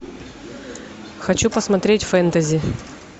хочу посмотреть фэнтези